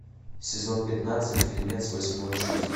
сезон пятнадцать фильмец восьмое чувство